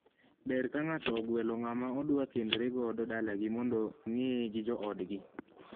Ber ka ng'ato ogwelo ng'ama odwa kendore godo dalagi mondo ng'eye gi joodgi .